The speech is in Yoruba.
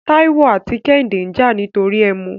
Tàíwò àti Kẹ́hìndé ń jà nítorí ẹmu.